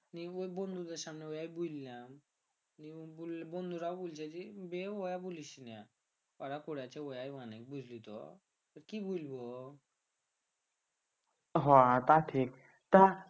বন্ধুদের সামনে বুইললাম কি বুইলবো হ তাও ঠিক তা